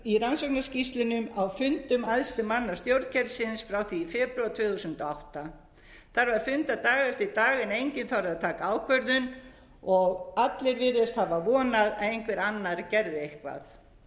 í rannsóknarskýrslunni á fundum æðstu manna stjórnkerfisins frá því í febrúar tvö þúsund og átta þar var fundað dag eftir dag en enginn þorði að taka ákvörðun og allir virðast hafa vonað að einhver annar gerði eitthvað